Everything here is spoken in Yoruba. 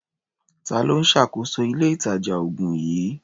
Ta ló ń ṣàkóso ilé-ìtàjà-oògùn yìí?